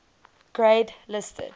grade listed